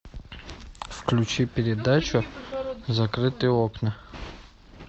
включи передачу закрытые окна